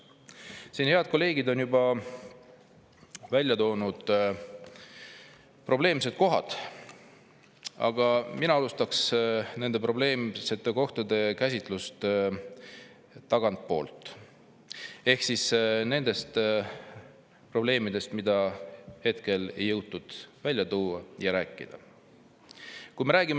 Siin on head kolleegid juba välja toonud probleemsed kohad, aga mina alustaks probleemsete kohtade käsitlust tagantpoolt ehk siis nendest probleemidest, mida ei ole jõutud välja tuua ja millest ei ole jõutud rääkida.